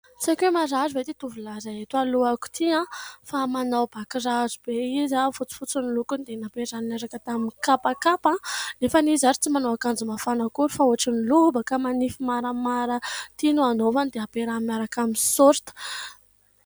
Tsy haiko hoe marary ve ity tovolahy iray eto alohako ity ? Fa manao bakiraro be izy, fotsifotsy ny lokony, dia nampiarahany niaraka tamin'ny kapakapa, nefa izy ary tsy manao akanjo mafana akory fa ohatran'ny lobaka manify maramara ity no anaovany, dia ampiarahany miaraka amin'ny saorita.